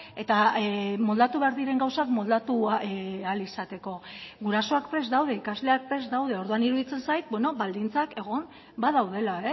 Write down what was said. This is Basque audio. eta moldatu behar diren gauzak moldatu ahal izateko gurasoak prest daude ikasleak prest daude orduan iruditzen zait baldintzak egon badaudela